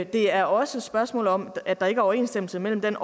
det er også et spørgsmål om at der ikke er overensstemmelse mellem den